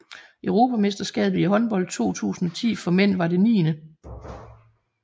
Europamesterskabet i håndbold 2010 for mænd var det 9